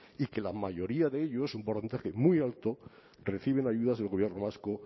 y que la mayoría de ellos un porcentaje muy alto reciben ayudas del gobierno vasco